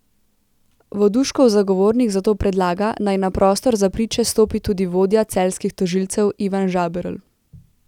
Voduškov zagovornik zato predlaga, naj na prostor za priče stopi tudi vodja celjskih tožilcev Ivan Žaberl.